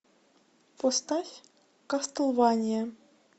поставь кастлвания